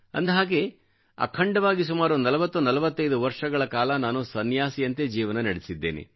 ಅಂದಹಾಗೆ ಅಖಂಡವಾಗಿ ಸುಮಾರು 4045 ವರ್ಷಗಳ ಕಾಲ ನಾನು ಸನ್ಯಾಸಿಯಂತೆ ಜೀವನ ನಡೆಸಿದ್ದೇನೆ